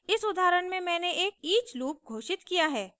इस उदाहरण में मैंने एक each लूप घोषित किया है